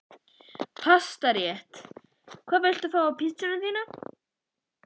Pastarétt Hvað vilt þú fá á pizzuna þína?